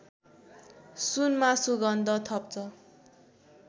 सुनमा सुगन्ध थप्छ